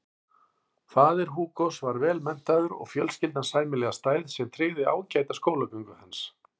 Faðir Hugos var vel menntaður og fjölskyldan sæmilega stæð sem tryggði ágæta skólagöngu hans.